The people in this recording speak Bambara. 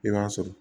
I b'a sɔrɔ